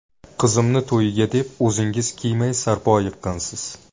Qizimni to‘yiga deb, o‘zingiz kiymay, sarpo yiqqansiz.